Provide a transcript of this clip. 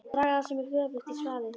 Þeir draga það sem er göfugt í svaðið.!